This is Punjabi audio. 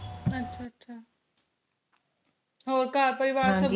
ਅੱਛਾ ਅੱਛਾ ਹੋਰ ਘਰ ਪਰਵਾਰ ਸਬ